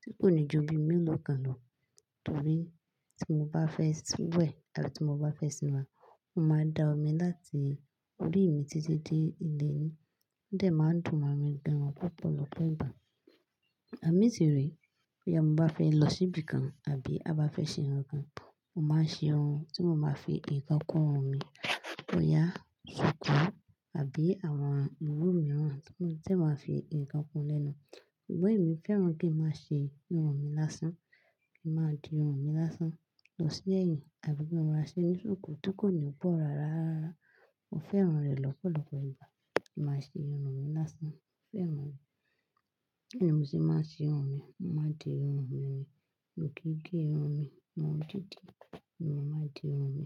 tí kò ní ju bí mú lọ́kàn lọ. Torí tí mo bá fẹ́ sanwó ẹ̀ àti tí mo bá fẹ́ ṣìnà, ó máa da omi láti orí mi títí dé ilé ẹ. Ó dẹ̀ máa ń dùn mí gan-an púpọ̀ lọ́pọ̀ ìgbà. Àmì tí rẹ̀ pé tí ọmọ bá fẹ́ lọ síbi kan àbí a bá fẹ́ ṣe nǹkan kan, mó máa ń ṣerun tí ó máa fi ìkan kún irun mi. Ọ̀yà, ṣòkò àbí àwọn òwú mìíràn tí èèyàn máa fi nǹkan kún-un lẹ́nu. Ṣùgbọ́n èmi fẹ́ràn kí n máa ṣe irun mi lásán, kí n máa di irun mi lásán lọ sí ẹ̀yìn àbí bí mo bá ń ránṣẹ́ ní ṣòkò tí kò ní bọ̀ rárá. Mo fẹ́ran rẹ̀ lọ́pọ̀lọpọ̀ ìgbà kí n maá ṣe irun mi lásán. Mo fẹ́ran rẹ̀. Bí mo ṣe máa ń ṣe irun mi, mo máa ń di irun mi ni. Mi kìn gé irun mi, irun dídi ni mo máa ń di irun mi.